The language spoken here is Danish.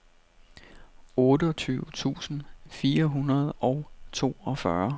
otteogtyve tusind fire hundrede og toogfyrre